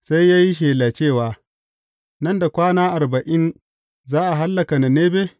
Sai ya yi shela cewa, Nan da kwana arba’in za a hallaka Ninebe?